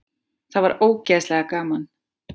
Það var ógeðslega gaman.